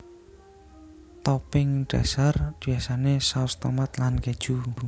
Topping dhasar biasané saus tomat lan kéju